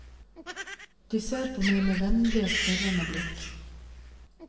De ser på meg med vennlige, spørrende blikk.